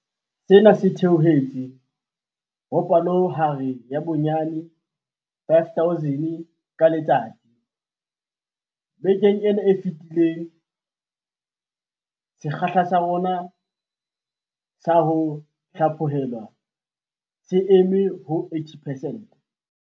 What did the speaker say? Sena se theohetse ho palohare ya bonyane 5 000 ka letsatsi bekeng ena e fetileng. Sekgahla sa rona sa ho hlaphohelwa se eme ho 80 percent.